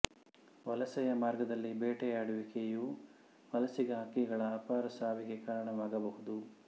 ವಲಸೆಯ ಮಾರ್ಗದಲ್ಲಿ ಬೇಟೆಯಾಡುವಿಕೆಯು ವಲಸಿಗ ಹಕ್ಕಿಗಳ ಅಪಾರ ಸಾವಿಗೆ ಕಾರಣವಾಗಬಹುದು